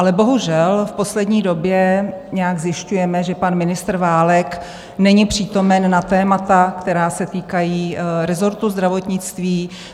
Ale bohužel v poslední době nějak zjišťujeme, že pan ministr Válek není přítomen na témata, která se týkají rezortu zdravotnictví.